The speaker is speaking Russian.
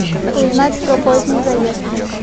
узнать про поздний заезд